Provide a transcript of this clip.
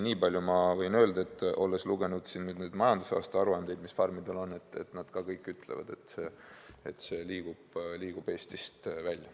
Nii palju ma võin öelda, olles lugenud majandusaasta aruandeid, mille farmid on koostanud, et nad kõik ütlevad, et toodang liigub Eestist välja.